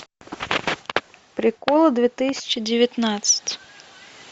приколы две тысячи девятнадцать